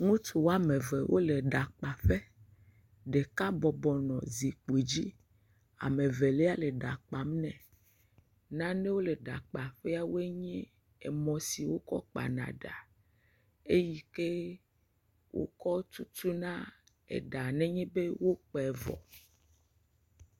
Ŋutsu woame eve wo le eɖa kpa ƒe. Ɖeka bɔbɔnɔ anyi ɖe zikpui dzi. Ame ɖeka le eɖa kpam ne. Nanewo le eɖa kpa ƒea nye emɔ siwo kɔ kpa na ɖa, eyi ke wokɔ tutuna eɖa nenye be wokpe vɔ.